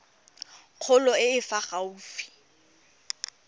kgolo e e fa gaufi